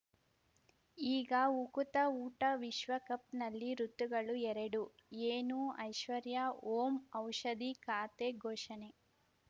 ಈಗ ಉಕುತ ಊಟ ವಿಶ್ವಕಪ್‌ನಲ್ಲಿ ಋತುಗಳು ಎರಡು ಏನು ಐಶ್ವರ್ಯಾ ಓಂ ಔಷಧಿ ಖಾತೆ ಘೋಷಣೆ